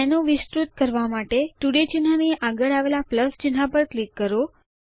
menu વિસ્તૃત કરવા માટે તોડાય ચિહ્ન ની આગળ આવેલ પ્લસ ચિહ્ન પર ક્લિક કરો